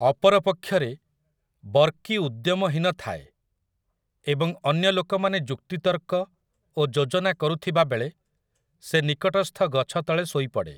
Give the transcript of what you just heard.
ଅପର ପକ୍ଷରେ, ବର୍କି ଉଦ୍ୟମହୀନ ଥାଏ, ଏବଂ ଅନ୍ୟ ଲୋକମାନେ ଯୁକ୍ତିତର୍କ ଓ ଯୋଜନା କରୁଥିବାବେଳେ ସେ ନିକଟସ୍ଥ ଗଛ ତଳେ ଶୋଇପଡ଼େ ।